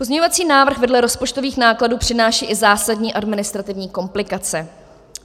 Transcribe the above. Pozměňovací návrh vedle rozpočtových nákladů přináší i zásadní administrativní komplikace.